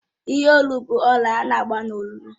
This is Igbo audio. Ihe Olu bụ ọlà ana-agba n'olu